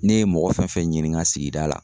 Ne ye mɔgɔ fɛn fɛn ɲininka sigida la.